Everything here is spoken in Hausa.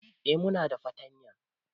Eh muna da fartanya